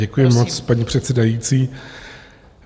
Děkuji moc, paní předsedající.